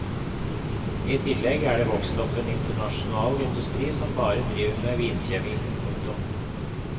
I tillegg er det vokst opp en internasjonal industri som bare driver med vinkjemi. punktum